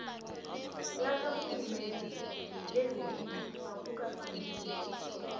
lakarhulumende lezepilo akukafaneli